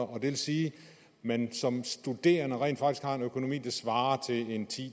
og det vil sige at man som studerende rent faktisk har en økonomi der svarer